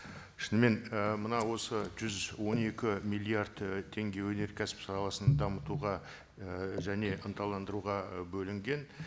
шынымен і мынау осы жүз он екі миллиард і теңге өнеркәсіп саласын дамытуға і және ынталандыруға і бөлінген